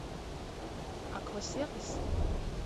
аква сервис